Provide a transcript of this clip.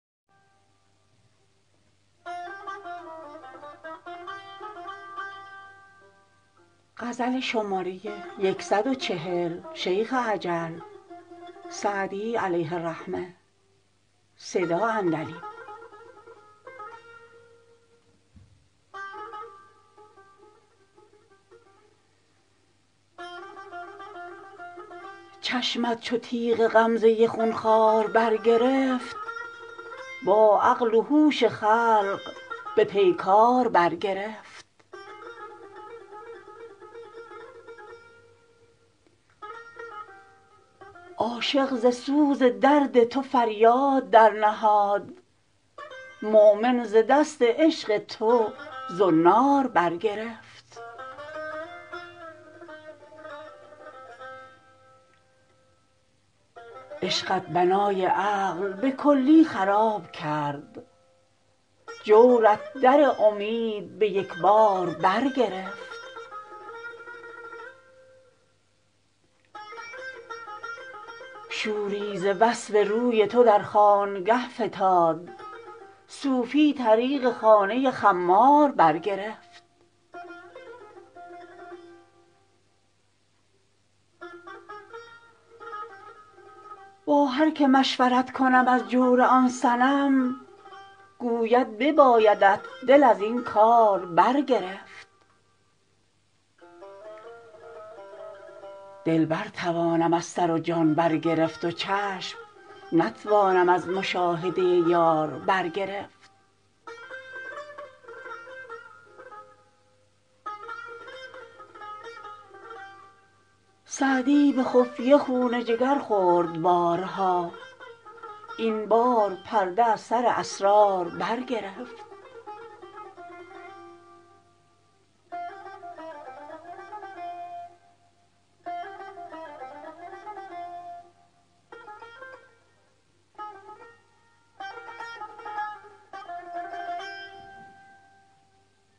چشمت چو تیغ غمزه خون خوار برگرفت با عقل و هوش خلق به پیکار برگرفت عاشق ز سوز درد تو فریاد درنهاد مؤمن ز دست عشق تو زنار برگرفت عشقت بنای عقل به کلی خراب کرد جورت در امید به یک بار برگرفت شوری ز وصف روی تو در خانگه فتاد صوفی طریق خانه خمار برگرفت با هر که مشورت کنم از جور آن صنم گوید ببایدت دل از این کار برگرفت دل برتوانم از سر و جان برگرفت و چشم نتوانم از مشاهده یار برگرفت سعدی به خفیه خون جگر خورد بارها این بار پرده از سر اسرار برگرفت